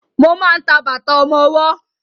Mo máa ń ta bàtà ọmọwọ́.